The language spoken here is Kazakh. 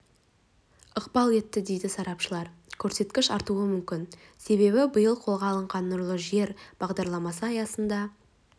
ықпал етті дейді сарапшылар көрсеткіш артуы мүмкін себебі биыл қолға алынған нұрлы жер бағдарламасы аясында